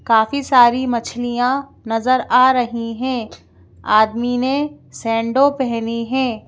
काफी सारी मछलियाँ नजर आ रही हैं आदमी ने सेंडो पहनी है।